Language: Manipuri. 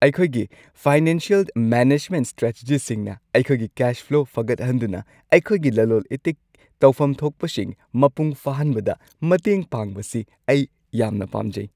ꯑꯩꯈꯣꯏꯒꯤ ꯐꯥꯏꯅꯥꯟꯁꯤꯌꯦꯜ ꯃꯦꯅꯦꯖꯃꯦꯟꯠ ꯁ꯭ꯇ꯭ꯔꯦꯇꯦꯖꯤꯁꯤꯡꯅ ꯑꯩꯈꯣꯏꯒꯤ ꯀꯦꯁ ꯐ꯭ꯂꯣ ꯐꯒꯠꯍꯟꯗꯨꯅ ꯑꯩꯈꯣꯏꯒꯤ ꯂꯂꯣꯜ ꯏꯇꯤꯛ ꯇꯧꯐꯝ ꯊꯣꯛꯄꯁꯤꯡ ꯃꯄꯨꯡ ꯐꯥꯍꯟꯕꯗ ꯃꯇꯦꯡ ꯄꯥꯡꯕꯁꯤ ꯑꯩ ꯌꯥꯝꯅ ꯄꯥꯝꯖꯩ꯫